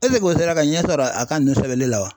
Eseke o sera ka ɲɛ sɔrɔ a ka ninnu sɛbɛnni la wa?